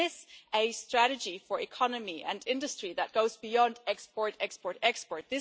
We miss a strategy for economy and industry that goes beyond export, export, export.